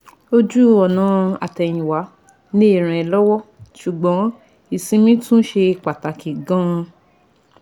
Ojú ọ̀nà àtẹ̀yìnwá lè ràn ẹ́ lọ́wọ́, ṣùgbọ́n ìsinmi tún ṣe pàtàkì gan - an